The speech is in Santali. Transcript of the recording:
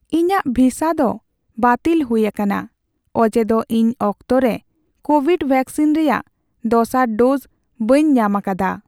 ᱤᱧᱟᱹᱜ ᱵᱷᱤᱥᱟ ᱫᱚ ᱵᱟᱹᱛᱤᱞ ᱦᱩᱭ ᱟᱠᱟᱱᱟ ᱚᱡᱮ ᱫᱚ ᱤᱧ ᱚᱠᱛᱚ ᱨᱮ ᱠᱳᱵᱷᱤᱰ ᱵᱷᱮᱠᱥᱤᱱ ᱨᱮᱭᱟᱜ ᱫᱚᱥᱟᱨ ᱰᱳᱡ ᱵᱟᱹᱧ ᱧᱟᱢ ᱟᱠᱟᱫᱟ ᱾